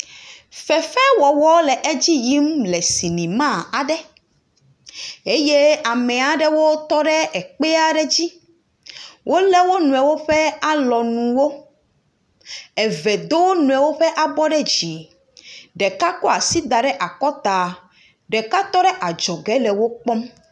Fefewɔwɔ le edzi yim le sinema aɖe eye ame aɖewo tɔ ɖe ekpea ɖe dzi. Wole wo nɔewo ƒe alɔnuwo. Eve do wo nɔewo ƒe abɔ ɖe dzi. Ɖeka kɔ asi da ɖe akɔta. Ɖeka tɔ ɖe adzɔge le wo kpɔm.